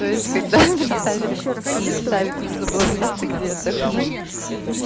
то есть когда представили представить нужно было место где отдохну